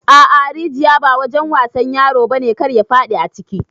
A'a rijiƴa ba wajen wasan ƴaro bane kar ya fadi aciki.